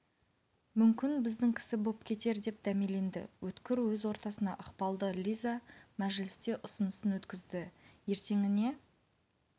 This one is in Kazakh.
мүмкін біздің кісі боп кетер деп дәмеленді өткір өз ортасына ықпалды лиза мәжілісте ұсынысын өткізді ертеңіне